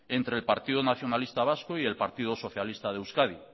entre el partido nacionalista vasco y el partido socialista de euskadi